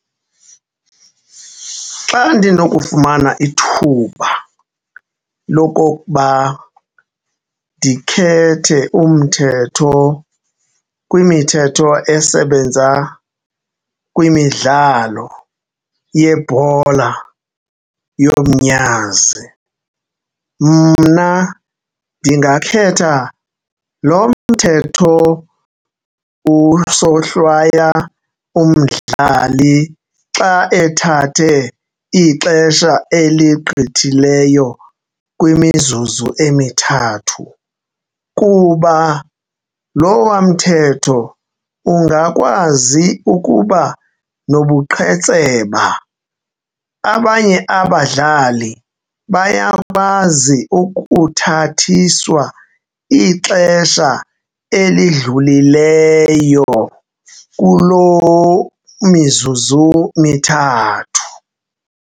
Xa ndinokufumana ithuba lokokuba ndikhethe umthetho kwimithetho esebenza kwimidlalo yebhola yomnyazi, mna ndingakhetha lo mthetho usohlwaya umdlali xa ethathe ixesha eligqithileyo kwimizuzu emithathu kuba lowa mthetho ungakwazi ukuba nobuqhetseba. Abanye abadlali bayakwazi ukuthathiswa ixesha elidlulileyo kuloo mizuzu mithathu.